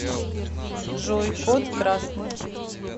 джой код красный